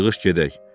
Yığış gedək.